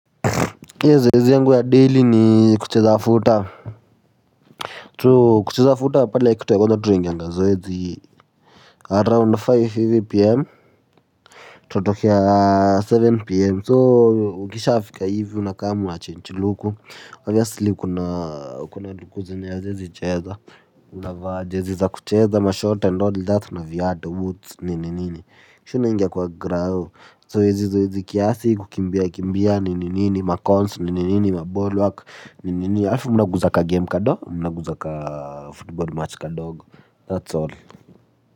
Zoezi yangu ya daily ni kucheza futaa tu kucheza futa pala kitu ya kwenda training na zoezi around tano hivi pm tunatokea saba pm so ukishafika hivi unakam unachange luku obviously kuna luku haziezi cheza unavaa jezi za kucheza ma short and all that na viatu boots nini nini kisha unaingia kwa grao zoezi zoezi kiasi kukimbia kimbia nini nini makons nini nini mabody work. Nini nini alfu mna guza ka game kadogo mna guza ka football match kadogo That's all.